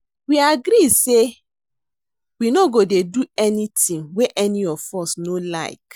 We agree say we no go dey do anything wey any of us no like